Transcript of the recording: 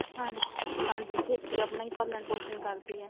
ਹਾਂਜੀ ਹਾਂਜੀ ਖੇਤੀ ਆਪਣਾ ਹੀ ਪਾਲਣ ਪੋਸ਼ਣ ਕਰਦੀ ਹੈ